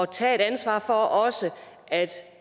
tage et ansvar for at også